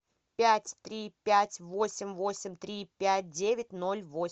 пять три пять восемь восемь три пять девять ноль восемь